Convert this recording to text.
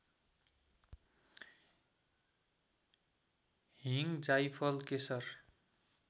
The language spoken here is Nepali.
हिङ जाइफल केशर